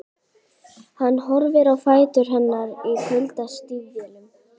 Horfir á fætur hennar í kuldastígvélum.